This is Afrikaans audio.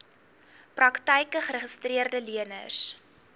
praktyke geregistreede leners